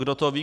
Kdo to ví?